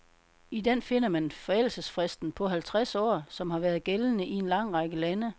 I den finder man forældelsesfristen på halvtreds år, som har været gældende i en lang række lande.